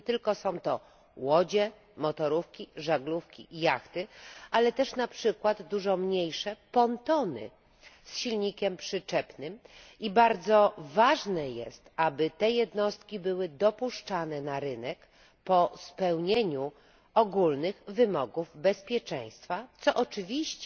Nie są to tylko łodzie, motorówki, żaglówki, jachty, ale też na przykład dużo mniejsze pontony z silnikiem przyczepnym i bardzo ważne jest, aby te jednostki były dopuszczane na rynek po spełnieniu ogólnych wymogów bezpieczeństwa, co oczywiście